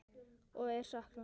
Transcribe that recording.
Og er saknað.